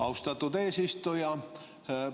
Austatud eesistuja!